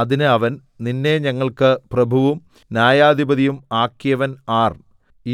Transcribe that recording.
അതിന് അവൻ നിന്നെ ഞങ്ങൾക്ക് പ്രഭുവും ന്യായാധിപതിയും ആക്കിയവൻ ആർ